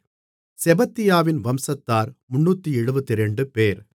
செபத்தியாவின் வம்சத்தார் 372 பேர்